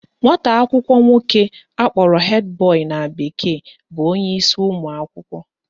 Nwata akwụkwọ nwoke akpọrọ head boy na bekee bụ onyeisi ụmụakwụkwọ